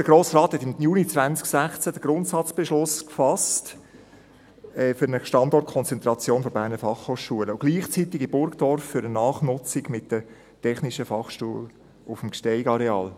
Der Grosse Rat fasste im Juli 2016 den Grundsatzbeschluss für eine Standortkonzentration der BFH und gleichzeitig in Burgdorf für eine Nachnutzung mit der TF Bern auf dem GsteigAreal.